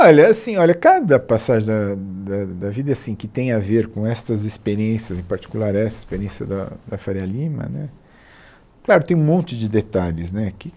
Olha, assim olha cada passagem da da da vida assim que tem a ver com essas experiências, em particular essa experiência da da Faria Lima né, claro, tem um monte de detalhes né que